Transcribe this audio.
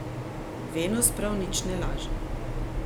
Venus prav nič ne laže.